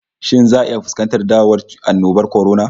Shin za'a iya fuskantar dawowan annobar kwarona?